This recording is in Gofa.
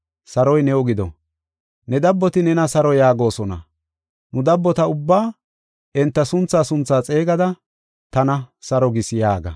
Saroy new gido. Ne dabboti nena saro yaagosona. Nu dabbota ubbaa enta sunthaa sunthaa xeegada tana “Saro gis” yaaga.